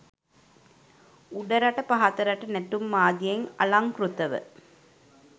උඩරට පහතරට නැටුම් ආදියෙන් අලංකෘතව